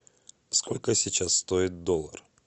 сколько сейчас стоит доллар